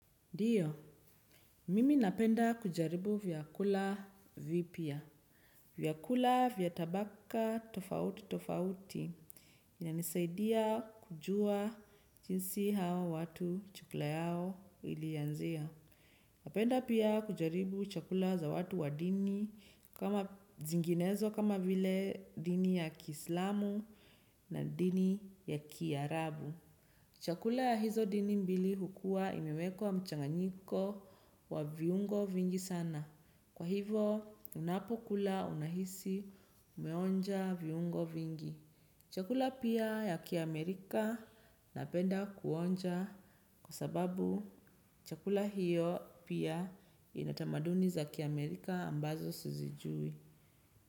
Ndio, mimi napenda kujaribu vyakula vipya. Vyakula vya tabaka tofauti tofauti. Inanisaidia kujua jinsi hao watu chakula yao ilianzia. Napenda pia kujaribu chakula za watu wa dini kama zinginezo kama vile dini ya kiislamu na dini ya kiarabu. Chakula ya hizo dini mbili hukua imewekwa mchanganyiko wa viungo vingi sana. Kwa hivo unapokula unahisi umeonja viungo vingi. Chakula pia ya kiamerika napenda kuonja kwa sababu chakula hiyo pia inatamaduni za kiamerika ambazo sizijui.